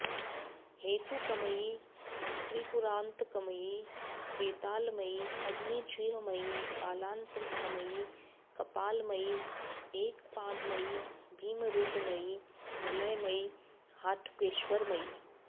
हेतुकमयि त्रिपुरान्तकमयि वेतालमयि अग्निजिह्वमयि कालान्तकमयि कपालमयि एकपादमयि भीमरूपमयि मलयमयि हाटकेश्वरमयि